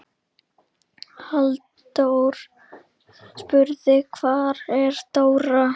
Halldór spurði: Hvar er Dóra?